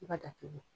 I b'a datugu